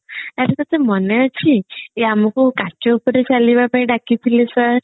ଆରେ ତତେ ମନେ ଅଛି ଆମକୁ କାଚ ଉପରେ ଚାଲିବା ପାଇଁ ଡ଼ାକିଥିଲେ sir